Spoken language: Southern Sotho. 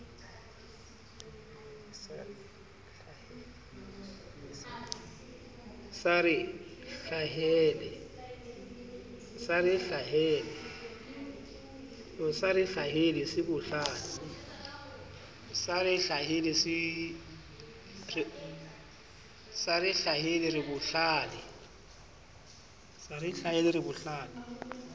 sa re hlahele re bohlale